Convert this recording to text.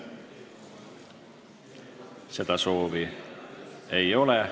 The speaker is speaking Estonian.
Seda soovi ei ole.